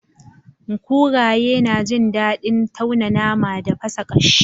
Kuraye na jin dadin tauna nama da fasa kashi.